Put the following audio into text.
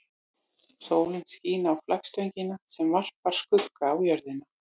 Sólin skín á flaggstöngina sem varpar skugga á jörðina.